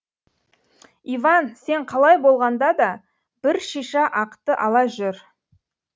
иван сен қалай болғанда да бір шиша ақты ала жүр